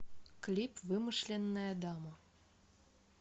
клип вымышленная дама